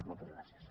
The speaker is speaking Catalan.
moltes gràcies